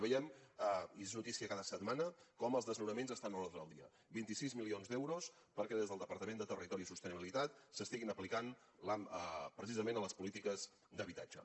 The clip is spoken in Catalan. veiem i és notícia cada setmana com els desnonaments estan a l’ordre del dia vint sis milions d’euros perquè des del departament de territori i sostenibilitat s’estiguin aplicant precisament a les polítiques d’habitatge